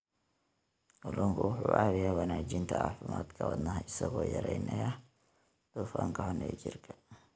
Kalluunku wuxuu caawiyaa wanaajinta caafimaadka wadnaha isagoo yareynaya dufanka xun ee jirka.